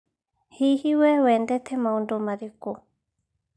Hihi, wee wendete maũndũ marĩkũ?